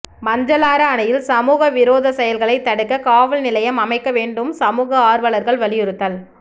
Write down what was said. மஞ்சளாறு அணையில் சமூக விரோதச் செயல்களை தடுக்க காவல்நிலையம் அமைக்க வேண்டும் சமூக ஆர்வலர்கள் வலியுறுத்தல்